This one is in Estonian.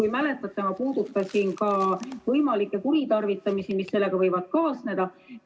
Ja mäletate, ma puudutasin ka võimalikke kuritarvitamisi, mis sellega võivad kaasneda.